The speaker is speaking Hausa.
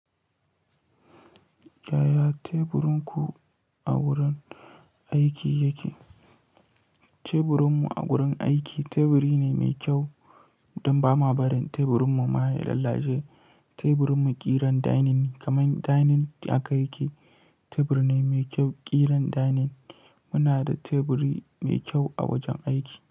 Yaya teburinku a wurin aiki yake? Teburinmu a wurin aiki teburi ne mai kyau don ba ma barin teburinmu ma ya lalace. Teburinmu ƙiran dining kamar dining haka yake teburi ne mai kyau ƙiran dining. Muna da teburi mai kyau a wajen aiki.